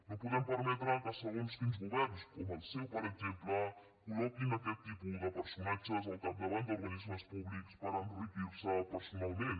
no podem permetre que segons quins governs com el seu per exemple col·de personatges al capdavant d’organismes públics per enriquir se personalment